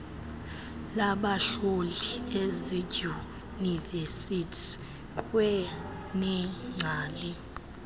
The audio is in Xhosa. labahlohli ezidyunivesiti kwaneengcali